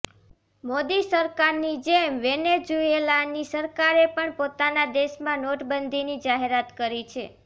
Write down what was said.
મોદી સરકારની જેમ વેનેઝૂએલાની સરકારે પણ પોતાના દેશમાં નોટબંધીની જાહેરાત કરી છે